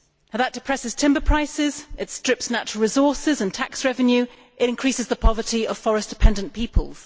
That depresses timber prices, it strips natural resources and tax revenue, and it increases the poverty of forest dependent peoples.